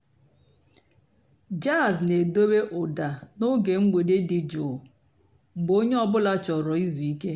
jàzz nà-èdobé ụ́dà n'óge m̀gbèdé dị́ jụ́ụ́ mg̀bé ónyé ọ̀ bụ́là chọ̀rọ́ ìzú ìké.